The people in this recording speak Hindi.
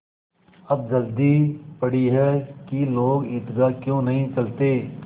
अब जल्दी पड़ी है कि लोग ईदगाह क्यों नहीं चलते